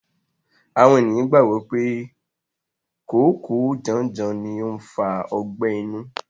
Àwọn ènìyàn gbàgbọ́ pé kòókòó janjan ni ó ń fa ọgbẹ́ inú.